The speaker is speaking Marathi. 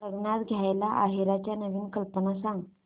लग्नात द्यायला आहेराच्या नवीन कल्पना सांग